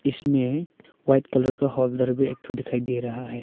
इसमें white colour का holder भी एक ठो दिखाई दे रहा है।